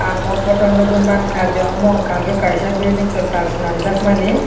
aw photo nugui manka je omo unka ke kaisa building kalat swnamjaakmani.